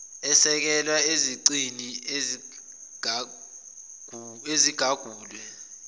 asekelwe ezicini ezigagulwe